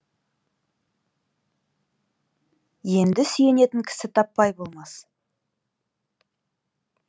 енді сүйенетін кісі таппай болмас